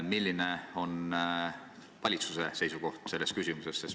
Milline on valitsuse seisukoht selles küsimuses?